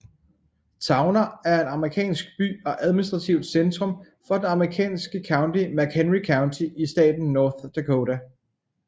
Towner er en amerikansk by og administrativt centrum for det amerikanske county McHenry County i staten North Dakota